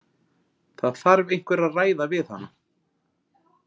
Það þarf einhver að ræða við hana.